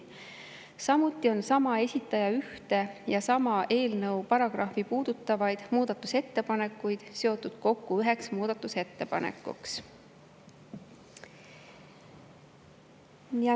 Samuti on sama esitaja ühte ja sama eelnõu paragrahvi puudutavaid muudatusettepanekuid seotud kokku üheks muudatusettepanekuks.